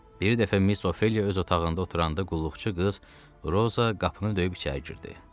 Bir dəfə Miss Ophelia öz otağında oturanda qulluqçu qız Roza qapını döyüb içəri girdi.